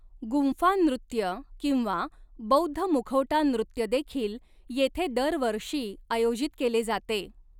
गुंफा नृत्य किंवा बौद्ध मुखवटा नृत्य देखील येथे दरवर्षी आयोजित केले जाते.